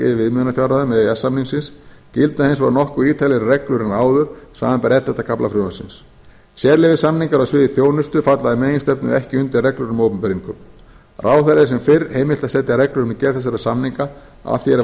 viðmiðunarfjárhæðum e e s samningsins gilda hins vegar nokkuð ítarlegri reglur en áður samanber ellefta kafla frumvarpsins sérleyfissamningar á sviði þjónustu falla í meginstefnu ekki undir reglur um opinber innkaup ráðherra er sem fyrr heimilt að setja reglur um gerð þessara samninga að því er